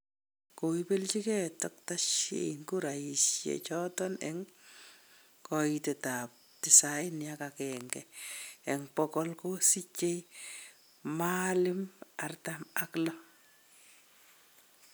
Koibeljigei Dkt Shein kuraisiechoton en koitet ab tisaini ak agenge en bogolkosiije Maalim artam ak loo.